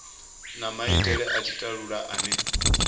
na maitele a tshitalula ane